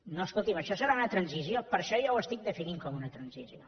no escolti’m això serà una transició per això jo ho estic definint com una transició